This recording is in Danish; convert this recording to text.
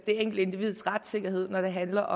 enkelte individs retssikkerhed når det handler